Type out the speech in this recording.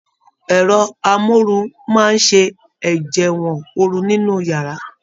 Ẹrọ amoru máa ṣe ẹjẹwọn ooru nínú yàrá.